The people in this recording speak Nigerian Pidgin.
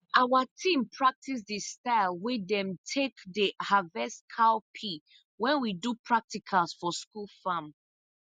our team practice the style wey dem take dey harvest cowpea when we do practical for school farm